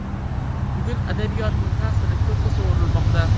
Bugun adabiyotning ta’siri ko‘kka sovurilmoqda.